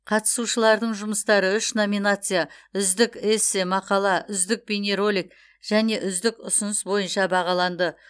қатысушылардың жұмыстары үш номинация үздік эссе мақала үздік бейнеролик және үздік ұсыныс бойынша бағаланды